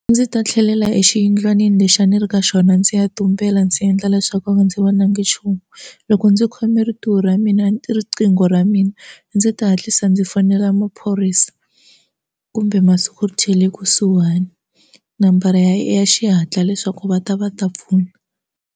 Ndzi ta tlhelela exiyindlwanini lexi a ni ri ka xona ndzi ya tumbela ndzi endla leswaku ndzi vonangi nchumu loko ndzi khome rintiwo ra mina riqingho ra mina ndzi ta hatlisa ndzi fonela maphorisa kumbe masiku kusuhani nambara ya xihatla leswaku va ta va ta pfuna.